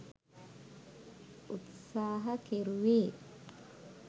උත්සාහකෙරුවේ